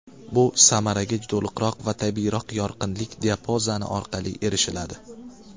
Bu samaraga to‘liqroq va tabiiyroq yorqinlik diapazoni orqali erishiladi.